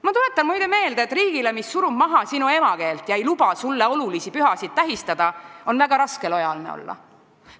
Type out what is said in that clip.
Ma tuletan meelde, et riigile, mis surub maha sinu emakeelt ega luba sulle olulisi pühasid tähistada, on väga raske lojaalne olla.